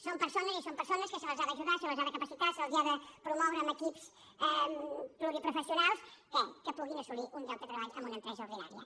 són persones i són persones que se les ha d’ajudar se les ha de capacitar se’ls ha de promoure amb equips pluriprofessio nals què que puguin assolir un lloc de treball en una empresa ordinària